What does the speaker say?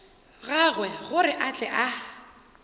gagwe gore a tle a